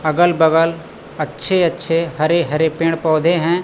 अगल बगल अच्छे अच्छे हरे हरे पेड़ पौधे हैं।